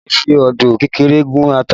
A lè fi odó kékeré gún ata